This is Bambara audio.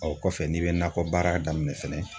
O kɔfɛ ;n'i bɛ nakɔ baara daminɛ fɛnɛ.